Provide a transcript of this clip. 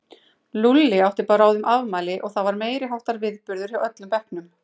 Lúlli átti bráðum afmæli og það var meiriháttar viðburður hjá öllum bekknum.